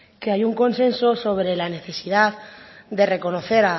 que hay un consenso sobre la necesidad de reconocer